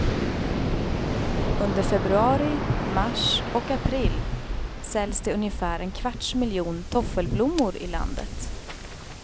Under februari, mars och april säljs det ungefär en kvarts miljon toffelblommor i landet.